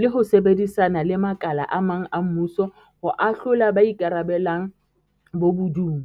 le ho sebedisana le makala a mang a mmuso ho ahlola ba ikarabellang bobo dung.